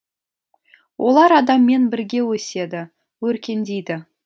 олар адаммен бірге өседі өркендейді